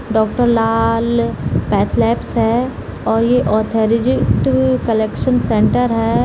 Doctor Lal pathlabs है और ये ऑथराइज कलेक्शन सेंटर है।